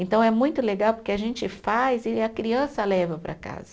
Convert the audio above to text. Então, é muito legal porque a gente faz e a criança leva para casa.